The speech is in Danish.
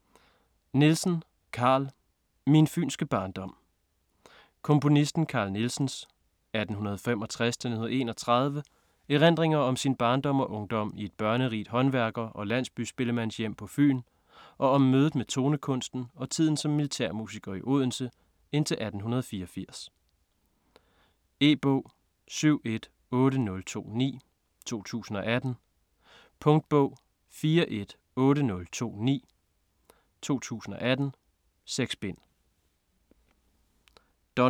Nielsen, Carl: Min fynske barndom Komponisten Carl Nielsens (1865-1931) erindringer om sin barndom og ungdom i et børnerigt håndværker- og landsbyspillemandshjem på Fyn og om mødet med tonekunsten og tiden som militærmusiker i Odense indtil 1884. E-bog 718029 2018. Punktbog 418029 2018. 6 bind.